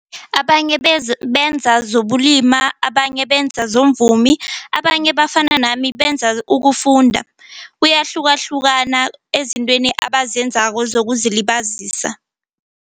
Abanye benza zokulima, abanye benza bomvumi, abanye bafana nami benza ukufunda kuyahlukahlukana ezintweni abazenzako zokuzilibazisa.